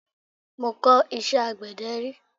Mọ kọ̀ iṣẹ́ àgbẹ̀dẹ rí.